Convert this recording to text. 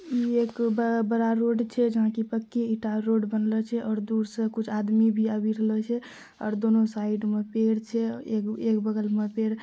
ये एक बड़ा-बड़ा रोड छे जहां की पक्की ईटा रोड बनले छे और दूर सा कुछ आदमी भी आवी रहलो छै और दोनों साइड में पेड़ छे एक बगल मा पेड़--